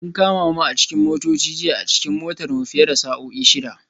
An kama mu a cikin motoci jiya a cikin motar mu fiye da sa'o'i shida